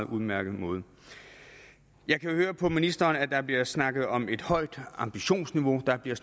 udmærket måde jeg kan høre på ministeren at der bliver snakket om et højt ambitionsniveau der bliver